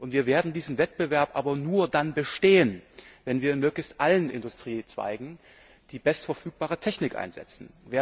uns. Wir werden diesen Wettbewerb aber nur dann bestehen, wenn wir in möglichst allen Industriezweigen die bestverfügbare Technik einsetzen.